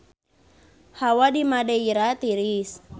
Hawa di Madeira tiris